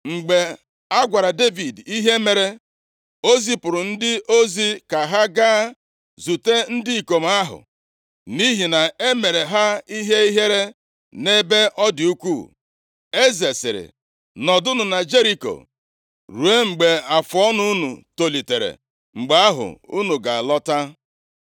Mgbe a gwara Devid ihe mere, o zipụrụ ndị ozi ka ha gaa zute ndị ikom ahụ, nʼihi na e mere ha ihe ihere nʼebe ọ dị ukwuu. Eze sịrị, “Nọdụnụ na Jeriko ruo mgbe afụọnụ unu tolitere, mgbe ahụ unu ga-alọta.”